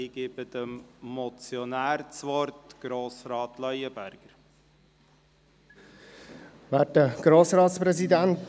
Ich gebe dem Motionär, Grossrat Leuenberger, das Wort.